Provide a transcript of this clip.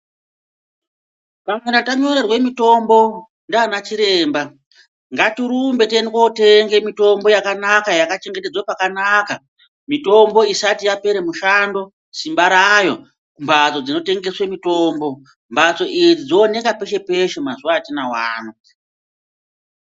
Vanhu kana tanyorerwe mitombo ndiana chiremba, ngatirumbe tiende kotenge mitombo yakanaka yakachengetedzwe pakanaka, mitombo isati yapere mushando simba rayo kumbatso dzinotengeswe mitombo. Mbatsonidzi dzooneke peshe peshe mazuwa atinawo ano.